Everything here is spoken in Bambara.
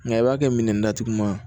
Nka i b'a kɛ minɛndatuguma ye